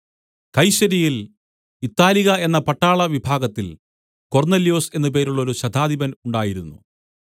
കൈസര്യയിൽ Italica എന്ന പട്ടാള വിഭാഗത്തിൽ കൊർന്നൊല്യോസ് എന്നു പേരുള്ളോരു ശതാധിപൻ ഉണ്ടായിരുന്നു